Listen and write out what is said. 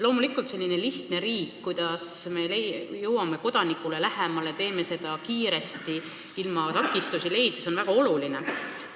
Loomulikult on selline lihtne riik, et jõuda kodanikule lähemale ja teha seda kiiresti, takistusteta, väga oluline.